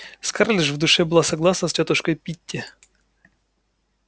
скарлетт же в душе была согласна с тётушкой питти